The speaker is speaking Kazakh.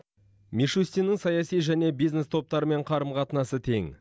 мишустиннің саяси және бизнес топтармен қарым қатынасы тең